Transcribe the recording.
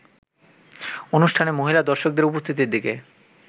অনুষ্ঠানে মহিলা দর্শকদের উপস্থিতির দিকে